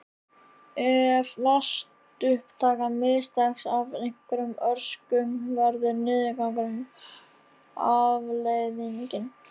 Ef vatnsupptakan mistekst af einhverjum orsökum verður niðurgangur afleiðingin.